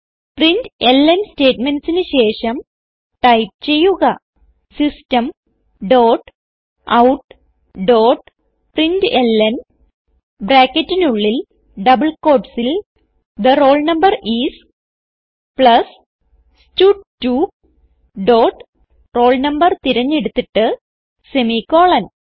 println statementsന് ശേഷം type ചെയ്യുക system dot out dot println ബ്രാക്കറ്റിനുള്ളിൽ ഡബിൾ quotesൽ the roll number is plus stud two dot roll no തിരഞ്ഞെടുത്തിട്ട് സെമിക്കോളൻ